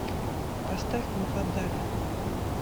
поставь муфаддаля